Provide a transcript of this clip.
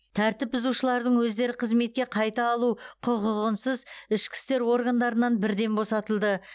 тәртіп бұзушылардың өздері қызметке қайта алу құқығынсыз ішкі істер органдарынан бірден босатылды